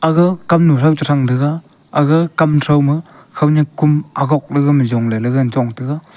ga kamnu trow chethrang tega aga kam thrauma khownyak kom agok lega ma jongley ley ngan chong tega.